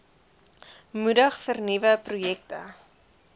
moedig vernuwende projekte